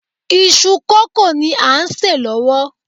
Iṣu kókò ni à ń sè lọ́wọ́